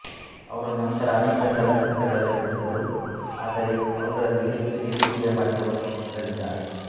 ಅವರು ನಂತರ ಅನೇಕ ಚಲನಚಿತ್ರಗಳಲ್ಲಿ ನಟಿಸಿದರು ಆದರೆ ಅವುಗಳಲ್ಲಿ ಹೆಚ್ಚು ನಿರೀಕ್ಷೆಯ ಮಟ್ಟವನ್ನು ಮುಟ್ಟಲಿಲ್ಲ